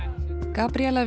Gabríela